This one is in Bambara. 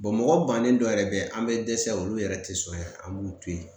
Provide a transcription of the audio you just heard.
mɔgɔ bannen dɔ yɛrɛ be yen an be dɛsɛ olu yɛrɛ te sɔn an b'u to yen